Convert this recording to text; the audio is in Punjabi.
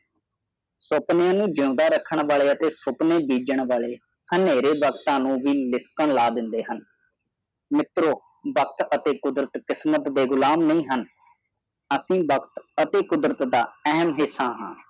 ਸੁਪਨਿਆਂ ਨੂੰ ਜਿਆਦਾ ਰਹਕਾਂਨ ਵਾਲੇ ਅਤੇ ਸੁਪਨੈ ਬੀਜਾਂ ਵਾਲੇ ਹਨੇਰੇ ਵਕਤਾ ਨੂੰ ਵੀ ਲਿਸਨ ਲੈ ਦੇਦੇ ਹਨ ਮਿਤਰੋ ਵਕਤ ਅਤੇ ਕੁਦਰਤ ਕਿਸਮਤ ਦੇ ਗੁਲਾਮ ਨਹੀਂ ਹਨ ਐਸੇ ਬਸ ਕੁਦਰਤ ਦਾ ਅਹਿਮ ਹਿਸਾ ਹਾਂ